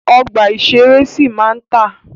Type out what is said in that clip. Ọgbà ìṣẹ̀rẹ́ sì máa ma tà.